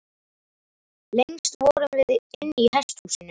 Lengst vorum við inni í hesthúsinu.